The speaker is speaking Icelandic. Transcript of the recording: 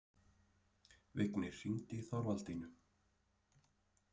Vignir, hringdu í Þorvaldínu.